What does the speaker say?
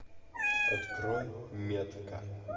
открой метка